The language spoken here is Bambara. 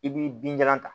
I b'i binjalan ta